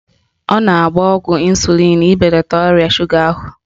Ọ na-agba ọgwụ ịnsulịn ibelata ọrịa shuga ahụ